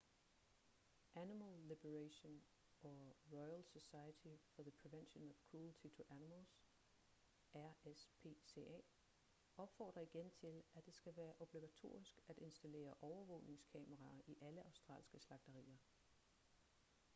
animal liberation og royal society for the prevention of cruelty to animals rspca opfordrer igen til at det skal være obligatorisk at installere overvågningskameraer i alle australske slagterier